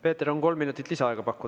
Peeter, on kolm minutit lisaaega pakkuda.